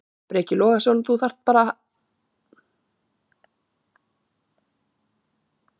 Breki Logason: Þú vilt hafa þetta áfram bara í ríkinu?